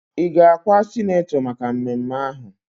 Ị ga-akwa sinetọ maka mmemme ahụ?